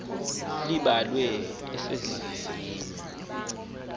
elibalasele ngemvisiswano r